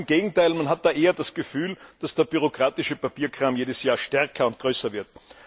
Ganz im Gegenteil, man hat da eher das Gefühl, dass der bürokratische Papierkram jedes Jahr stärker und größer wird.